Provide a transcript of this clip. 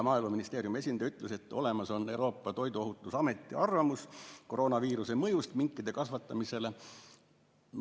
Maaeluministeeriumi esindaja ütles veel, et on olemas Euroopa Toiduohutusameti arvamus koroonaviiruse mõjust minkide kasvatamisele.